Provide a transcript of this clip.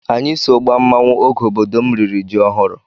Anyị so gbaa mmanwụ oge obodo m riri ji ọhụrụ.